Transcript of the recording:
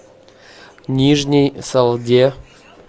нижней салде